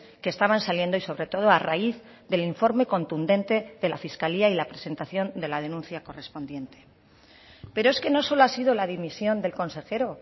que estaban saliendo y sobre todo a raíz del informe contundente de la fiscalía y la presentación de la denuncia correspondiente pero es que no solo ha sido la dimisión del consejero